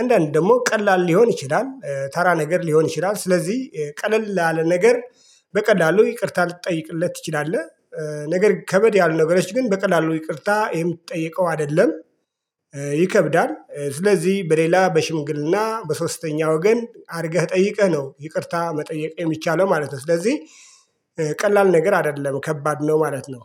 አንዳንድ ደግሞ ቀላል ሊሆን ይችላል ተራ ነገር ሊሆን ይችላል ስለዚህ ቀለል ላለ ነገር በቀላሉ ይቅርታ ልትጠይቅለት ትችላለህ። ነገር ከበድ ያሉ ነገሮች ግን በቀላሉ ይቅርታ የምትጠይቀው አይደለም። ይከብዳል ስለዚህ በሌላ በሽምግልና በሶስተኛ ወገን አድርገህ ጠይቀህ ነው ይቅርታ መጠየቅ የሚቻለው ማለት ነው። ስለዚህ ቀላል ነገር አይደለም ከባድ ነው ማለት ነው።